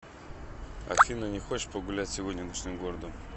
афина не хочешь погулять сегодня ночным городом